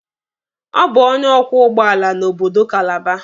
Ọ bụ onye ọkwọ ụgbọala n'obodo Kalaba.